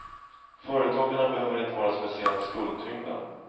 Företagarna behöver inte vara speciellt skuldtyngda.